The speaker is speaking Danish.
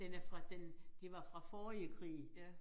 Den er fra den det var fra forrige krig